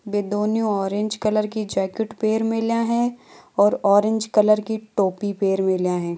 बे दोन्यों orange colour की jacket पेहर मेल्या है और और ऑरेंज कलर की टोपी पेहर मेल्या है।